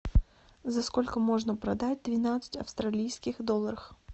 за сколько можно продать двенадцать австралийских долларах